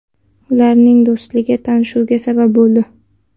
Ularning do‘sti tanishuvga sabab bo‘ldi.